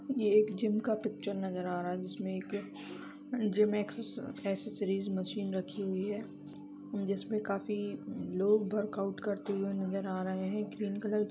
ये एक जिम का पिक्चर नजर आ रहा है जिसमें एक जिम एक्स एक्सेसरीज मशीन रखी हुई है जिसमें काफी लोग वर्कआउट करते हुए नजर आ रहै हैं ग्रीन कलर --